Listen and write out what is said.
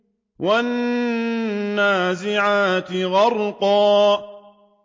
وَالنَّازِعَاتِ غَرْقًا